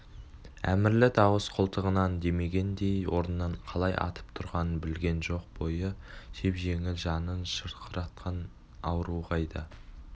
әмірлі дауыс қолтығынан демегендей орнынан қалай атып тұрғанын білген жоқ бойы жеп-жеңіл жанын шырқыратқан ауруы қайда